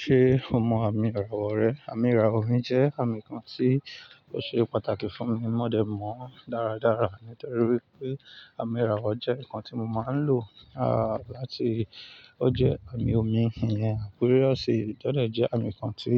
Ṣé o mọ àmì ìràwọ̀ rẹ? Àmì ìràwọ̀ mi jẹ́ àmì kan tí ó ṣe pàtàkì fún mi. Mo dẹ̀ mọ̀ ọ́n dáradára nítorí pé àmì ìràwọ̀ jẹ́ nǹkan tí mo máa ń lò láti ó jẹ àmì omi, àpéròsì tọ́dẹ̀ jẹ́ àmì kan tí